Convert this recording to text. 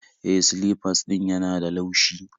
E, silifas ɗin yana da laushi